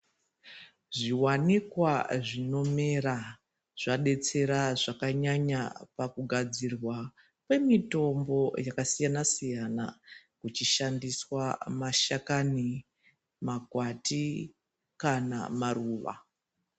Zviwanikwa zvinomera zvadetsera zvakanyanya pakugadzirwa kwemitombo yakasiyana siyana kuchishandiswa mashakani, makwati kana maruva.